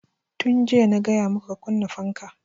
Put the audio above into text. Tun jiya na gaya maka ka kunna fanka!